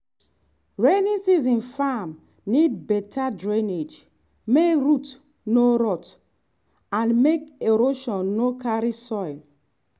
rainy season farm need better drainage make root no rot and make erosion no carry soil.